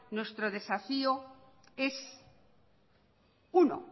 nuestro desafío es uno